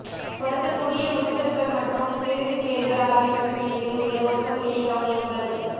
பொருந்தக்கூடிய உரிச்சொற்கள் மற்றும் பிரதிபெயர்கள் ஆகியவற்றுக்கு இடையில் உள்ள ஒற்றுமையைக் கவனியுங்கள்